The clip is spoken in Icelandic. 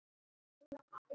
Það getur virst lítið.